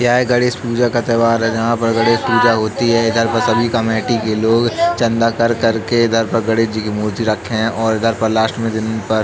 यह गणेश पूजा का त्यौहार है। जहाँ पर गणेश पूजा होती है इधर पर सभी कमेटी के लोग चंदा कर-कर के इधर पर गणेश जी की मूर्ति रखे है और इधर पर लास्ट में जमीन पर --